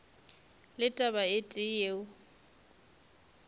le taba e tee yeo